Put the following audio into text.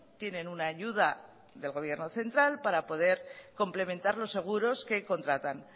tienen una ayuda del gobierno central para poder complementar los seguros que contratan